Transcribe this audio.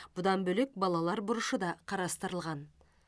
бұдан бөлек балалар бұрышы да қарастырылған